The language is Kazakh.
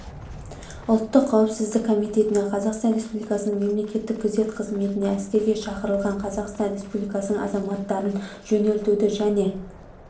ұлттық қауіпсіздік комитетіне қазақстан республикасының мемлекеттік күзет қызметіне әскерге шақырылған қазақстан республикасының азаматтарын жөнелтуді және